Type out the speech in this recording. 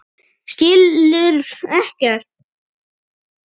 Skilur ekkert.